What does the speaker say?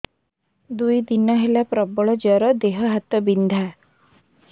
ଦୁଇ ଦିନ ହେଲା ପ୍ରବଳ ଜର ଦେହ ହାତ ବିନ୍ଧା